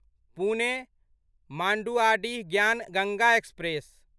Pune Manduadih Gyan Ganga express